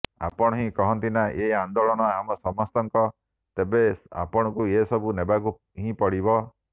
ଆପଣ ହିଁ କହନ୍ତିନା ଏ ଆନ୍ଦୋଳନ ଆମ ସମସ୍ତଙ୍କ ତେବେ ଆପଣଙ୍କୁ ଏ ସବୁ ନେବାକୁ ହିଁ ପଡିବ